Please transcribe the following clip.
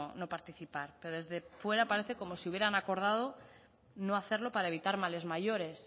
no participar pero desde fuera parece como si hubieran acordado no hacerlo para evitar males mayores